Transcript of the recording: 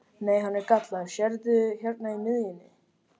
Nei, hann er gallaður, sérðu hérna í miðjunni.